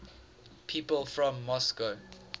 people from moscow